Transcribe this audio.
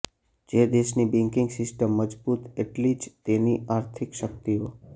જે દેશની banking system મજબૂત એટલી જ તેની આર્થિક શક્તિઓ